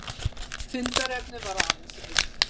Fundarefnið var aðeins eitt